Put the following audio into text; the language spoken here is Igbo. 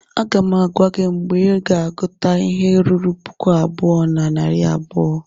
Aga m agwa gị mgbe ị ga-agụta ihe ruru puku abụọ na narị abụọ!